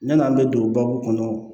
Yan'an bɛ don baabu kɔnɔ